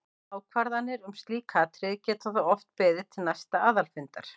Ákvarðanir um slík atriði geta þó oft beðið til næsta aðalfundar.